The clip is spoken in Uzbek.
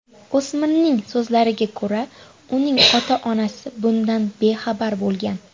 O‘smirning so‘zlariga ko‘ra, uning ota-onasi bundan bexabar bo‘lgan.